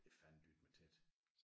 Det er fandendytme tæt